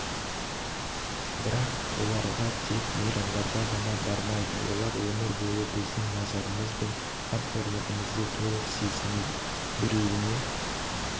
бірақ оларғатек қана мейрамдарда ғана бармайды олар өмір бойы біздің назарымыз бен қамқорлығымызды толық сезінеді біреуіне